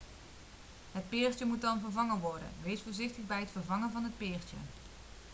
het peertje moet dan vervangen worden wees voorzichtig bij het vervangen van het peertje